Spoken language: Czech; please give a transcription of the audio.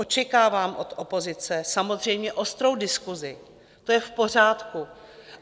Očekávám od opozice samozřejmě ostrou diskusi, to je v pořádku.